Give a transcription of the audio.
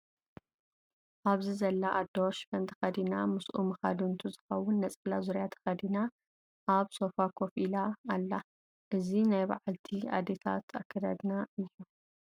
ኣብዚ ዘላ ኣዶ ሽፈን ተከዲና ምስኡ መካድንቱ ዝከውን ነፀላ ዙርያ ተከዲና ኣብ ሶፎ ኮፍ ኢላ ኣላ። እዚ ናይ ባዓላልቲ ኣዴታትና ኣኸዳድና እዩ።